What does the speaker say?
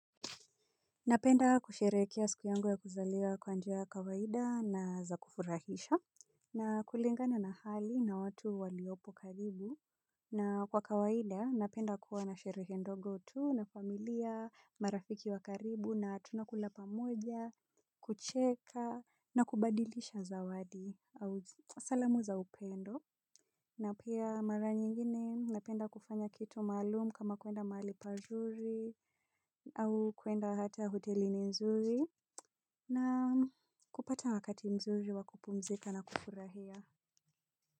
Napenda kusherekea ya siku yangu ya kuzaliwa kwa njia ya kawaida na za kufurahisha. Na kulingana na hali na watu waliopo karibu. Na kwa kawaida napenda kuwa na sherehe ndogo tu na familia, marafiki wa karibu na tunakula pamoja, kucheka na kubadilisha zawadi au salamu za upendo. Na pia mara nyingine napenda kufanya kitu maalumu kama kwenda mahali pazuri au kwenda hata hotelini mzuri na kupata wakati mzuri wa kupumzika na kufurahia.